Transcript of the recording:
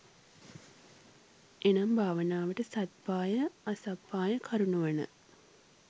එනම් භාවනාවට සත්පාය, අසප්පාය කරුණු වන,